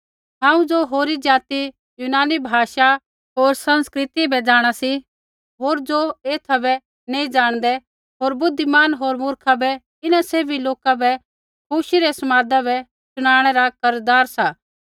हांऊँ ज़ो होरी जाति यूनानी भाषा होर संस्कृति बै जाँणा सी होर ज़ो एथा बै नैंई ज़ाणदै होर बुद्धिमान होर मूर्खा बै इन्हां सैभी लोका बै खुशी रै समादा बै शुनाणै रा कर्ज़दार सा